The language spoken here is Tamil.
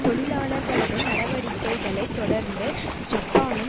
தொழிலாளர்களது நடவடிக்கைகளை தொடர்ந்து ஜப்பானும்